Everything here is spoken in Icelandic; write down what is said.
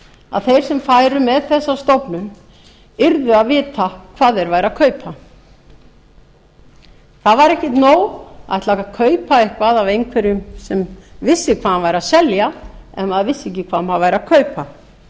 að þeir sem færu með þessa stofnun yrðu að vita hvað þeir væru að kaupa það væri ekkert nóg að ætla að kaupa eitthvað af einhverjum sem vissi hvað hann væri að selja ef maður vissi ekki hvað maður væri að kaupa